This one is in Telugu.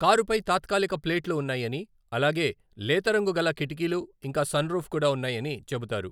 కారుపై తాత్కాలిక ప్లేట్లు ఉన్నాయని, అలాగే, లేతరంగు గల కిటికీలు ఇంకా సన్రూఫ్ కూడా ఉన్నాయని చెబుతారు.